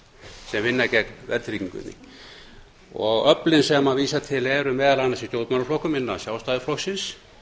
sem vinna gegn afnámi verðtryggingar öflin sem hann vísar til eru meðal annars í stjórnmálaflokkum innan sjálfstæðisflokksins